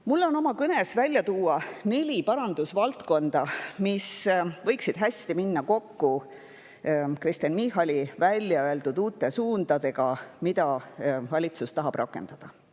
Tahan oma kõnes välja tuua neli parandusvaldkonda, mis võiksid hästi minna kokku Kristen Michali välja öeldud uute suundadega, mida valitsus tahab rakendada.